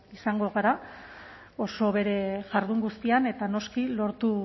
izango gara oso bere jardun guztian eta noski lortu